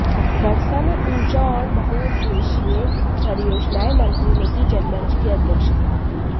गड़सा में ऊर्जा और बहुउद्देश्यीय परियोजनाएं मंत्री ने की जनमंच की अध्यक्षता